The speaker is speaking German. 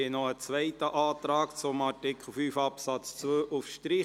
Es liegt noch ein zweiter Antrag zu Artikel 5 Absatz 2 vor, ein Antrag auf Streichung.